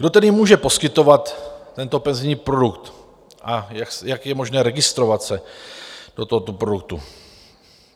Kdo tedy může poskytovat tento penzijní produkt a jak je možné registrovat se do tohoto produktu?